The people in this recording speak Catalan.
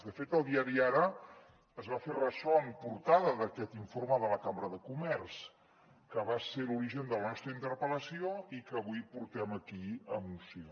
de fet el diari ara es va fer ressò en portada d’aquest informe de la cambra de comerç que va ser l’origen de la nostra interpel·lació i que avui portem aquí a moció